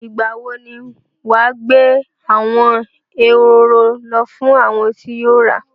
Ìgbà wo ni wà á gbé àwọn ehoro lọ fún àwọn tí o ra?